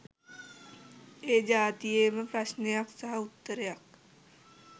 ඒ ජාතියේම ප්‍රශ්නයක් සහ උත්තරයක්.